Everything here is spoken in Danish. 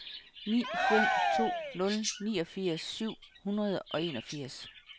ni fem to nul niogfirs syv hundrede og enogfirs